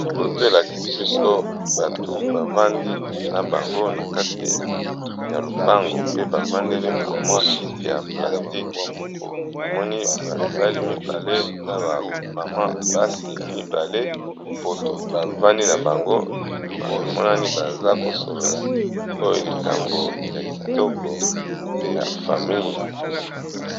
Poto elakisi biso bato bavandi na bango na kati ya lopango pe bavandeli ba mwa kiti ya plastiqe, namoni bamibali mibale na ba mama basi mibale bavandi na bango emonani baza kosolola oyo likambo ya kitoko ya famille.